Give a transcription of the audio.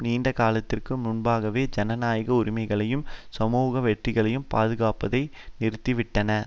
நீண்டகாலத்திற்கு முன்பாகவே ஜனநாயக உரிமைகளையும் சமூக வெற்றிகளையும் பாதுகாப்பதை நிறுத்தி விட்டன